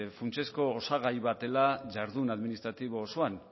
funtsezko osagai bat dela jardun administratibo osoan